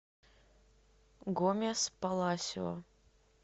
гомес паласио